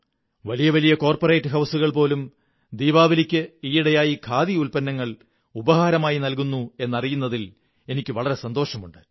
വലിയ വലിയ corporate ഹൌസുകൾ പോലും ദീപാവലിക്ക് ഈയിടയായി ഖാദി ഉത്പന്നങ്ങൾ ഉപഹാരങ്ങളായി നല്കുന്നു എന്നറിയുന്നതിൽ എനിക്കു വളരെ സന്തോഷമുണ്ട്